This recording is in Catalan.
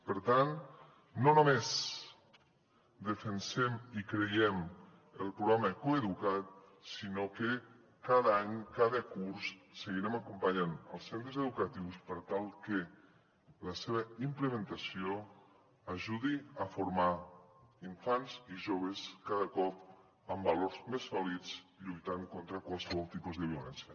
per tant no només defensem i creiem en el programa coeduca’t sinó que cada any cada curs seguirem acompanyant els centres educatius per tal que la seva implementació ajudi a formar infants i joves cada cop amb valors més sòlids lluitant contra qualsevol tipus de violència